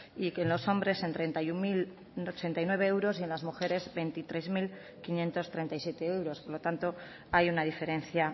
y que en los hombres en treinta y uno mil ochenta y nueve euros y en las mujeres veintitrés mil quinientos treinta y siete euros por lo tanto hay una diferencia